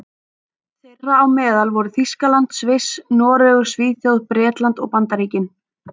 Þeirra á meðal voru Þýskaland, Sviss, Noregur, Svíþjóð, Bretland og Bandaríkin.